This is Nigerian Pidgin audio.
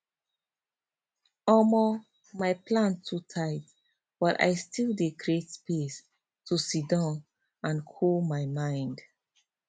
omo my plan too tight but i still dey create space to siddon and cool my mind